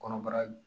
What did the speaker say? Kɔnɔbara